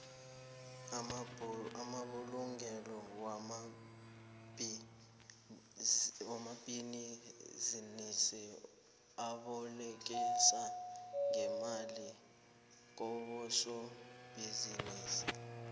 amabulungelo wamabhinisi abolekisa ngemali kobosobhizinisi